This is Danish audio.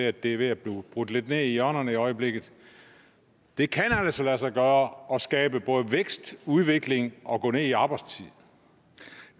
at det er ved at blive brudt lidt ned i hjørnerne i øjeblikket det kan altså lade sig gøre at skabe både vækst udvikling og at gå ned i arbejdstid